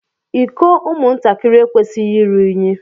Iko ụmụ ntakịrị ekwesighi ịrụ ụnyi.